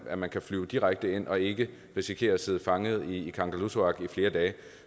at man kan flyve direkte ind og ikke risikerer at sidde fanget i kangerlussuaq i flere dage